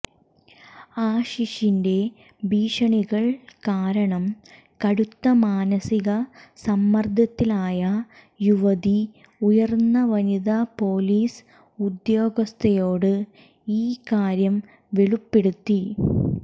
ആഷീഷിന്റെ ഭീഷണികൾ കാരണം കടുത്ത മാനസിക സമ്മർദ്ദത്തിലായ യുവതി ഉയർന്ന വനിതാ പൊലീസ് ഉദ്യോഗസ്ഥയോട് ഈക്കാര്യം വെളിപ്പെടുത്തി